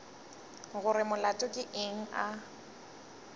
gore molato ke eng a